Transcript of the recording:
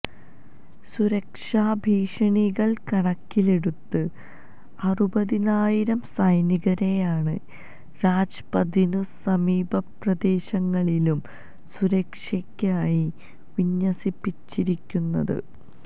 സുരക്ഷാഭീഷണികള് കണക്കിലെടുത്ത് അറുപതിനായിരം സൈനികരെയാണ് രാജ്പഥിനും സമീപപ്രദേശങ്ങളിലും സുരക്ഷയ്ക്കായി വിന്യസിപ്പിച്ചിരിക്കുന്നത്